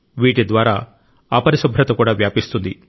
వీటి ద్వారా అపరిశుభ్రత కూడా వ్యాపిస్తుంది